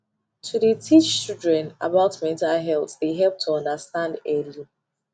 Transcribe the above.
to de teach children about mental health de help to understand early